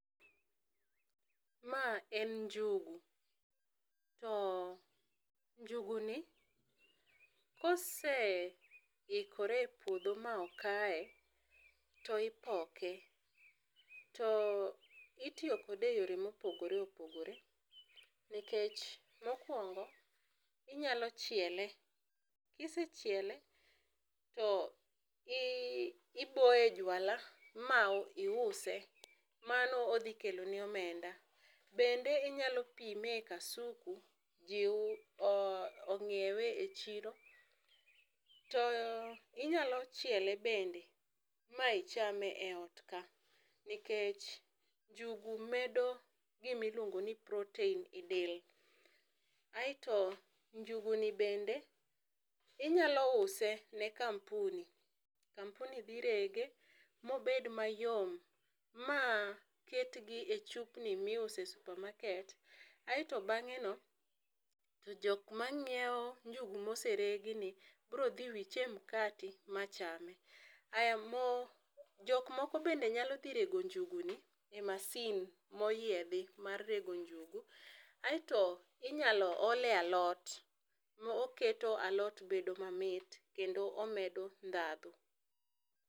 Ma en njugu, to njugi ni koseikore e puodho ma okaye to ipoke, to itiyo kode e yo ma opogore opogore, nikech ma okuongo inyalo chiele, kisechiele to iboye e jwala ma iuse mano odhi kelo ni omenda bende inyalo pime e kasuku ji ongiewe e chiro to inya chiele bende ma ichame e ot ka, nikech njugu medo gi gi ma iluongo ni protein e del aito njugu ni be inyalo use e kampuni, kampuni dhi rege ma obed ma yom ma ket gi e chupni mi iuse e supermarket. Aito bang'e no jok ma ng'iewo njugu ma oseregi ni biro dhi wiche e mkate ma cham. Aya mo jok moko bende nyalo dhi rego njugu ni e masin ma oyiedhi mar rego njugu aito inyalo ol e alot kendo oketo alot bedo ma mit kendo omedo dhandho.